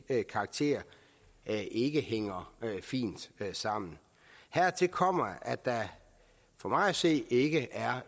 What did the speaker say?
karakter ikke ikke hænger fint sammen hertil kommer at der for mig at se ikke er